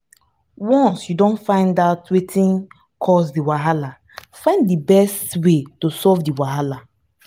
once you don find out wetin cause di wahala find di best wey to solve the wahala